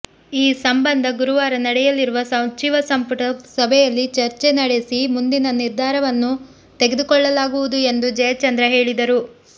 ಈ ಸಂಬಂಧ ಗುರುವಾರ ನಡೆಯಲಿರುವ ಸಚಿವ ಸಂಪುಟ ಸಭೆಯಲ್ಲಿ ಚರ್ಚೆ ನಡೆಸಿ ಮುಂದಿನ ನಿರ್ಧಾರವನ್ನು ತೆಗೆದುಕೊಳ್ಳಲಾಗುವುದು ಎಂದು ಜಯಚಂದ್ರ ಹೇಳಿದರು